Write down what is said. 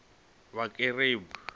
vhakerube